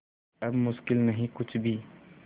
अब मुश्किल नहीं कुछ भी